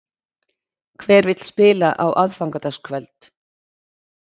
Hver vill spila á aðfangadagskvöld?